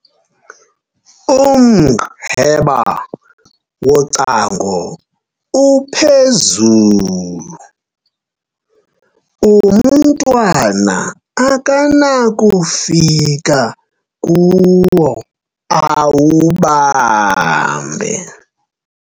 umqheba wocango uphezulu, umntwana akanakufika kuwo awubambe